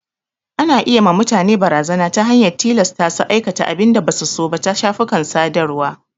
Ana iya ma mutane barazana ta hanyar tilasta su aikata abin da basu so ta shafukan sadarwa.